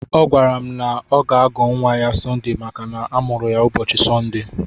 Ọ gwara m na ọ ga-agọ nwa ya Sọnde maka na amụrụ ya n'ụbọchị Sọnde.